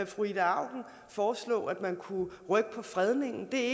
fru ida auken foreslå at der kunne rykkes på fredningen det er